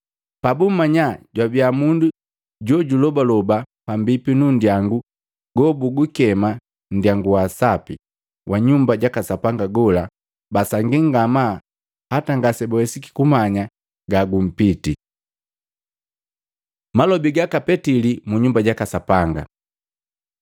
Pabummanya jwabia mundu jojulobaloba pambipi nunndyangu gobugukema, “Nndyangu wa Sapi,” wa Nyumba jaka Sapanga gola, basangii ngamaa hata ngase bawesiki kumanya gagumpiti. Malobi gaka Petili mu Nyumba jaka Sapanga